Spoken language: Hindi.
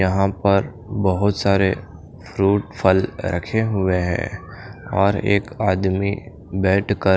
यहां पर बहोत सारे फ्रूट फल रखे हुए हैं और एक आदमी बैठकर--